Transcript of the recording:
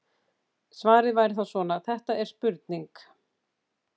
Svarið væri þá svona: Þetta er spurning.